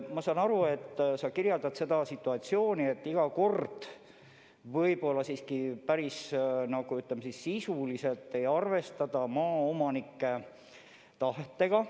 Ma saan aru, et sa pead silmas seda, et iga kord võib-olla siiski päris sisuliselt ei arvestata maaomanike tahtega.